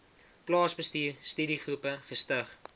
plaasbestuur studiegroepe gestig